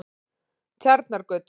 Tjarnargötu